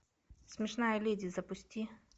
смешная леди запусти